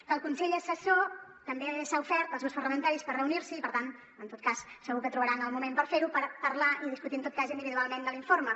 que el consell assessor també s’ha ofert als grups parlamentaris per reunir s’hi i per tant en tot cas segur que trobaran el moment per fer ho per parlar i discutir en tot cas individualment de l’informe